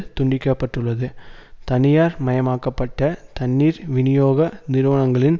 துண்டிக்க பட்டுள்ளது தனியார் மயமாக்க பட்ட தண்ணீர் விநியோக நிறுவனங்களின்